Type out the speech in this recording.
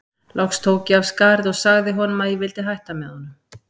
Loks tók ég af skarið og sagði honum að ég vildi hætta með honum.